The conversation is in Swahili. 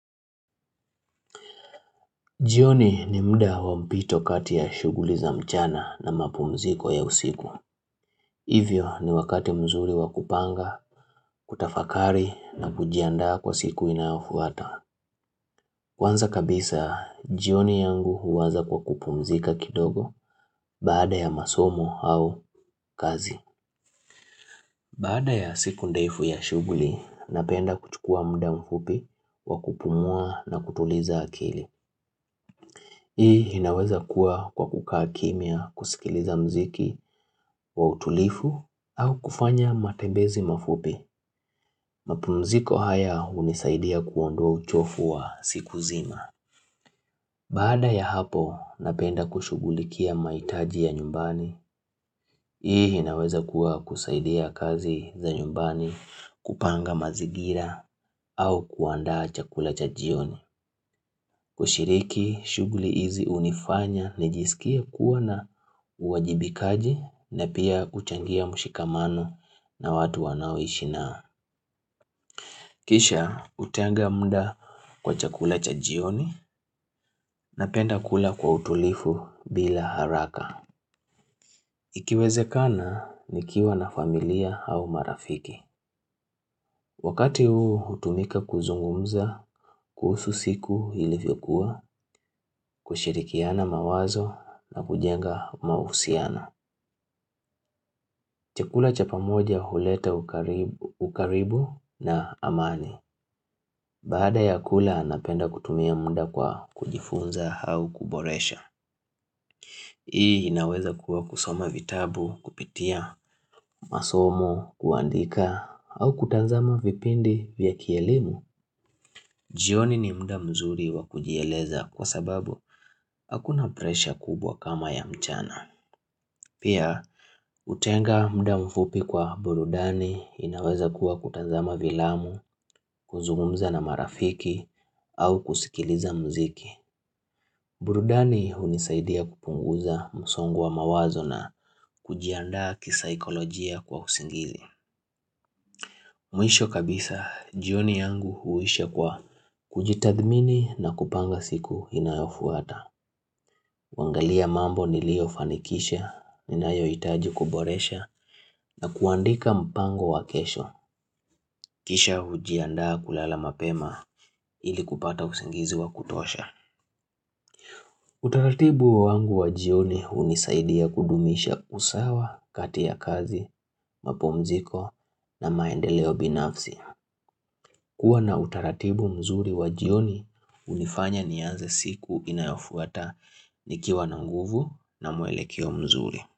Jioni ni mda wa mpito kati ya shughuli za mchana na mapumziko ya usiku. Hivyo ni wakati mzuri wa kupanga, kutafakari na kujiandaa kwa siku inayofuata. Kwanza kabisa, jioni yangu huwaza kwa kupumzika kidogo baada ya masomo au kazi. Baada ya siku ndefu ya shughuli, napenda kuchukua mda mfupi wa kupumua na kutuliza akili. Hii inaweza kuwa kwa kukaa kimia kusikiliza mziki wa utulifu au kufanya matembezi mafupi. Mapumziko haya hunisaidia kuondoa uchofu wa siku zima. Baada ya hapo napenda kushughulikia maitaji ya nyumbani. Hii hinaweza kuwa kusaidia kazi za nyumbani kupanga mazingira au kuandaa chakula cha jioni. Ushiriki, shughuli hizi unifanya, nijisikie kuwa na uwajibikaji na pia kuchangia mushikamano na watu wanawishinaa. Kisha, utenga mda kwa chakula cha jioni napenda kula kwa utulifu bila haraka. Ikiwezekana, nikiwa na familia au marafiki. Wakati huu hutumika kuzungumza, kuhusu siku ilivyokuwa, kushirikiana mawazo na kujenga mausiano. Chakula chapamoja huleta ukari ukaribu na amani. Baada ya kula napenda kutumia mda kwa kujifunza hau kuboresha. Hii inaweza kuwa kusoma vitabu, kupitia, masomo, kuandika, au kutanzama vipindi vya kielimu. Jioni mda mzuri wakujieleza kwa sababu hakuna presha kubwa kama ya mchana. Pia, utenga mda mfupi kwa burudani inaweza kuwa kutanzama vilamu, kuzungumza na marafiki, au kusikiliza muziki. Burudani hunisaidia kupunguza msongo wa mawazo na kujiandaa kisaikolojia kwa usingili. Mwisho kabisa, jioni yangu huisha kwa kujitathmini na kupanga siku inayofuata. Wangalia mambo nilio fanikisha, inayoitaji kuboresha na kuandika mpango wa kesho. Kisha hujiandaa kulala mapema ili kupata usingizi wa kutosha. Utaratibu wangu wa jioni unisaidia kudumisha usawa, kati ya kazi, mapumziko na maendeleo binafsi. Kuwa na utaratibu mzuri wajioni unifanya niaze siku inayofuata nikiwa na nguvu na mwelekeo mzuri.